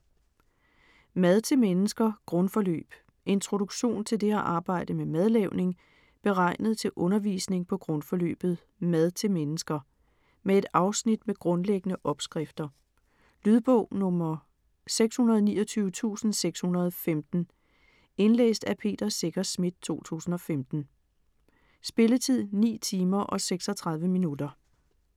Mad til mennesker - grundforløb Introduktion til det at arbejde med madlavning, beregnet til undervisning på grundforløbet "Mad til mennesker". Med et afsnit med grundlæggende opskrifter. Lydbog 629615 Indlæst af Peter Secher Schmidt, 2015. Spilletid: 9 timer, 36 minutter.